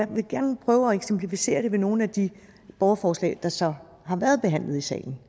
vil gerne prøve at eksemplificere det med nogle af de borgerforslag der så har været behandlet i salen